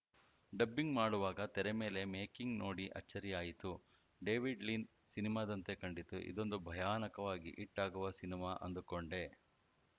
dubbing ಮಾಡುವಾಗ ತೆರೆ ಮೇಲೆ ಮೇಕಿಂಗ್‌ ನೋಡಿ ಅಚ್ಚರಿ ಆಯಿತು ಡೇವಿಡ್‌ ಲೀನ್‌ ಸಿನಿಮಾದಂತೆ ಕಂಡಿತು ಇದೊಂದು ಭಯಾನಕವಾಗಿ ಹಿಟ್‌ ಆಗುವ ಸಿನಿಮಾ ಅಂದುಕೊಂಡೆ